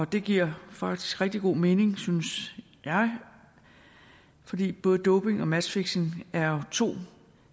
det giver faktisk rigtig god mening synes jeg fordi både doping og matchfixing er to